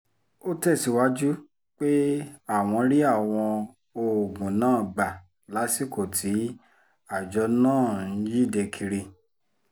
ó tẹ̀síwájú pé àwọn rí àwọn oògùn náà gbà lásìkò tí àjọ náà ń yíde kiri